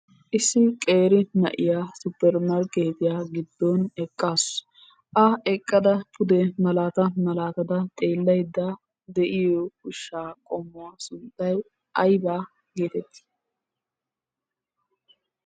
Issi qeeri na'iya suppermarkkeetiya giddon eqqaasu. A eqqada pude malaata malaatada xeellaydda de'iyo ushshaa qommuwa sunttay aybaa geetettii?